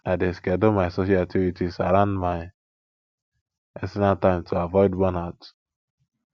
i dey schedule my social activities around my personal time to avoid burnout